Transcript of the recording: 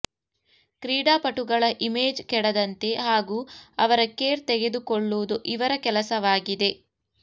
ಕ್ರೀಡಾಪಟುಗಳ ಇಮೇಜ್ ಕೆಡದಂತೆ ಹಾಗೂ ಅವರ ಕೇರ್ ತೆಗೆದುಕೊಳ್ಳುವುದು ಇವರ ಕೆಲಸವಾಗಿದೆ